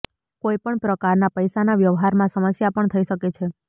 કોઈપણ પ્રકારના પૈસાના વ્યવહારમાં સમસ્યા પણ થઈ શકે છે